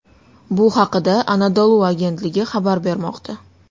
Bu haqda Anadolu agentligi xabar bermoqda .